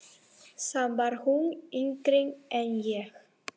Samt var hún yngri en ég.